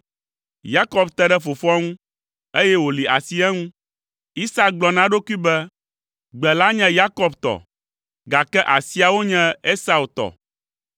Yakob te ɖe fofoa ŋu, eye wòli asi eŋu. Isak gblɔ na eɖokui be, “Gbe la nye Yakob tɔ, gake asiawo nye Esau tɔ!”